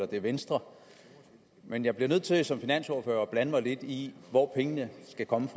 det er venstre men jeg bliver nødt til som finansordfører at blande mig lidt i hvor pengene skal komme